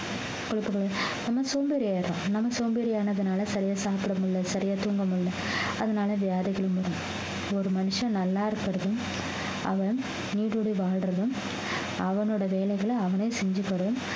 நம்ம சோம்பேறி ஆயிடுறோம் நம்ம சோம்பேறி ஆனதுனால சரியா சாப்பிட முடியலை சரியா தூங்க முடியலை அதனால வியாதிகள் முடியலை ஒரு மனுஷன் நல்லா இருக்கிறதும் அவன் வாழ்றதும் அவனோட வேலைகளை அவனே செஞ்சுக்கறதும்